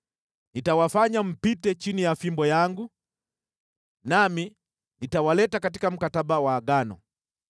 Nitawafanya mpite chini ya fimbo yangu, nami nitawaleta katika mkataba wa Agano.